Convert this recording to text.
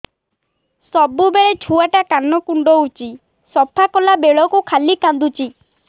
ସବୁବେଳେ ଛୁଆ ଟା କାନ କୁଣ୍ଡଉଚି ସଫା କଲା ବେଳକୁ ଖାଲି କାନ୍ଦୁଚି